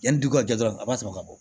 Yanni dugu ka jɛ dɔrɔn a b'a sɔrɔ ka bɔ